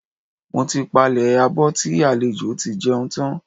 Mo ti palẹ̀ abọ́ tí àwọn àlejò tí jẹun tán.